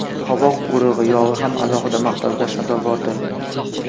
Qovoq urug‘i yog‘i ham alohida maqtovga sazovordir.